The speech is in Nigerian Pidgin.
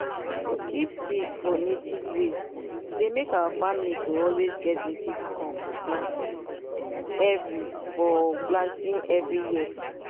to keep seed fo native way deymake our family to always get native corn for planting every for planting every year.